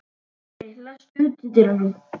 Nóri, læstu útidyrunum.